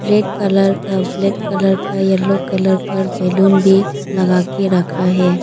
Red colour का black colour का yellow colour का बैलून भी लगा के रखा है।